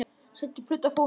Setjið plötu á fóninn.